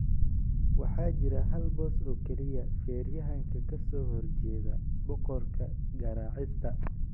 Waxaa jira hal boos oo kaliya - feeryahanka ka soo horjeeda boqorka garaacista.